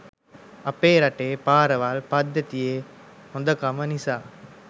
අපේ රටේ පාරවල් පද්දතියෙ හොදකම නිසා